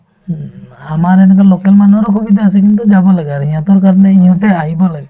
উম, আমাৰ এনেকুৱা local মানুহৰো সুবিধা আছে কিন্তু যাব লাগে আৰ্ সিহঁতৰ কাৰণে ইহঁতে আহিব লাগে